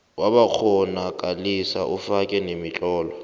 wabakghonakalisi ufake nemitlolo